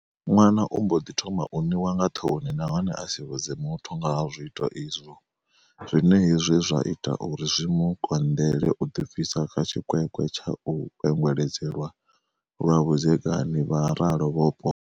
Ṅwana u mbo ḓi thoma u niwa nga ṱhoni nahone a si vhudze muthu nga ha zwiito izwo, zwine hezwi zwa ita uri zwi mu konḓeḽe u ḓibvisa kha tshikwekwe tsha u kwengweledzelwa zwa vhudzekani, vha ralo vho Poto.